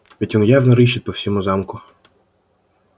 ведь оно явно рыщет по всему замку